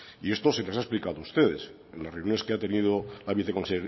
y esto se les ha explicado a ustedes en las reuniones que ha tenido